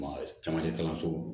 Ma camancɛ kalanso